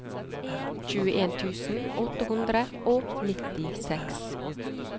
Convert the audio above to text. tjueen tusen åtte hundre og nittiseks